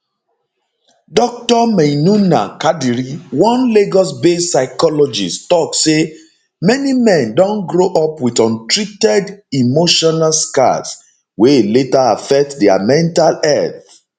dr maynunah kadiri one lagosbased psychologist tok say many men don grow up wit untreated emotional scars wey later affect dia mental health